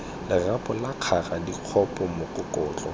lerapo la kgara dikgopo mokokotlo